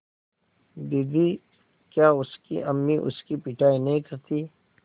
दीदी क्या उसकी अम्मी उसकी पिटाई नहीं करतीं